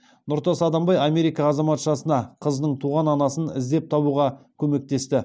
нұртас адамбай америка азаматшасына қызының туған анасын іздеп табуға көмектесті